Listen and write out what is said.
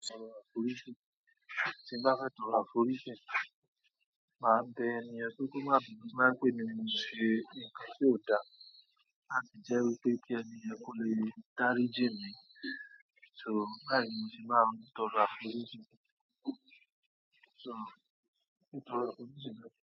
Tí n bá fẹ́ tọrọ àforíjì, máa bẹ ẹni yan pé kí ó má bínú, tó bá jẹ́ pè èmí ni mo ṣe nǹkan tí ó dá, láti jẹ́ wípé kí ẹniyàn kó lè dáríjì mí. So báyìí ni mo ṣe máa n tọrọ àforíjì ti tọrọ àforí ji n náà.